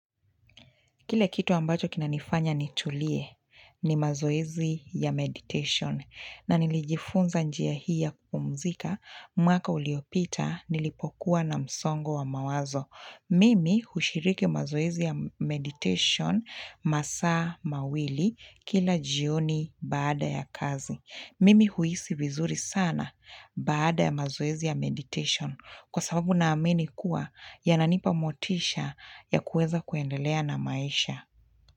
Kile kitu ambacho kinanifanya nitulie ni mazoezi ya meditation na nilijifunza njia hii ya kupumzika mwaka uliopita nilipokuwa na msongo wa mawazo. Mimi hushiriki mazoezi ya meditation masaa mawili kila jioni baada ya kazi. Mimi huhisi vizuri sana baada ya mazoezi ya meditation kwa sababu naamini kuwa yananipa motisha ya kuweza kuendelea na maisha.